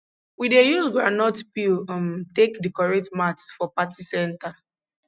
we dey use groundnut peel um take decorate mats for party center